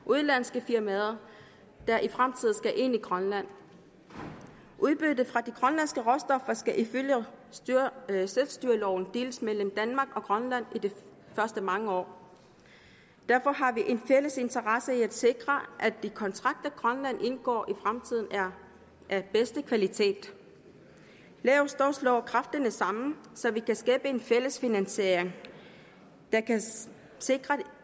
udenlandske firmaer der i fremtiden skal ind i grønland udbyttet fra de grønlandske råstoffer skal ifølge selvstyreloven deles mellem danmark og grønland i de første mange år derfor har vi en fælles interesse i at sikre at de kontrakter grønland indgår i fremtiden er af bedste kvalitet lad os dog slå kræfterne sammen så vi kan skabe en fælles finansiering der kan sikre